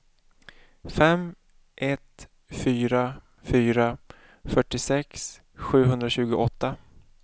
fem ett fyra fyra fyrtiosex sjuhundratjugoåtta